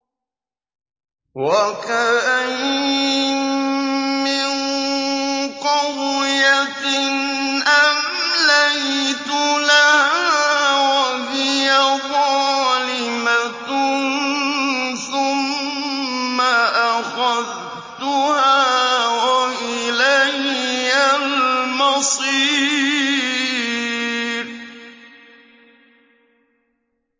وَكَأَيِّن مِّن قَرْيَةٍ أَمْلَيْتُ لَهَا وَهِيَ ظَالِمَةٌ ثُمَّ أَخَذْتُهَا وَإِلَيَّ الْمَصِيرُ